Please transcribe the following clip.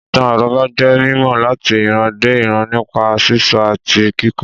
Ìtàn àrọ́bá jẹ́ mímọ̀ láti ìran dé ìran nípa sísọ àti kíkọ